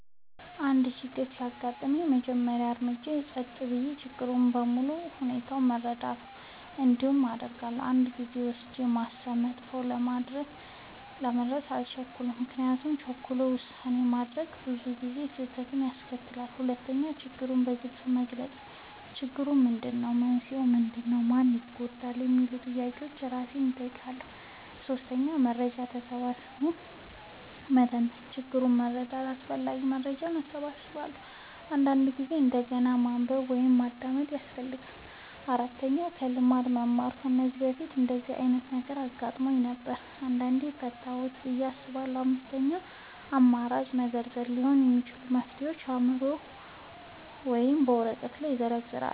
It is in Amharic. አንድ ችግር ሲያጋጥመኝ፣ የመጀመሪያው እርምጃዬ ጸጥ ብዬ ችግሩን በሙሉ ሁኔታው መረዳት ነው። እንዲህ አደርጋለሁ፦ 1. ጊዜ ወስጄ ማሰብ – ፈጥኖ ለመድረስ አልቸኩልም፤ ምክንያቱም ቸኩሎ ውሳኔ ማድረግ ብዙ ጊዜ ስህተት ያስከትላል። 2. ችግሩን በግልጽ መግለጽ – "ችግሩ ምንድነው? መንስኤው ምንድነው? ማን ይጎዳል?" የሚሉ ጥያቄዎችን እራሴን እጠይቃለሁ። 3. መረጃ ሰብስቤ መተንተን – ችግሩን ለመረዳት አስፈላጊ መረጃ እሰበስባለሁ፤ አንዳንድ ጊዜ እንደገና ማንበብ ወይም ማዳመጥ ያስፈልጋል። 4. ከልምድ መማር – "ከዚህ በፊት እንደዚህ ዓይነት ነገር አጋጥሞኝ ነበር? እንዴት ፈታሁት?" ብዬ አስባለሁ። 5. አማራጮችን መዘርዘር – ሊሆኑ የሚችሉ መፍትሄዎችን በአእምሮዬ ወይም በወረቀት ላይ እዘርዝራለሁ።